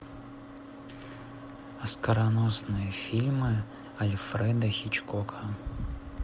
оскароносные фильмы альфреда хичкока